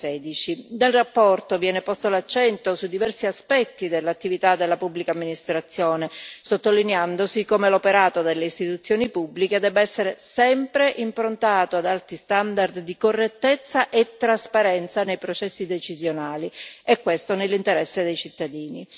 2016. Nel rapporto viene posto l'accento sui diversi aspetti dell'attività della pubblica amministrazione, sottolineando come l'operato delle istituzioni pubbliche debba essere sempre improntato ad alti standard di correttezza e trasparenza nei processi decisionali e questo nell'interesse dei cittadini.